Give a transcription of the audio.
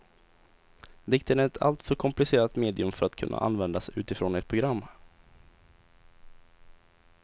Dikten är ett alltför komplicerat medium för att kunna användas utifrån ett program.